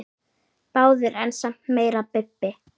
Báðir en samt meira Bubbi.